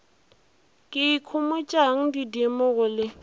ke ikhomotšang didimo go le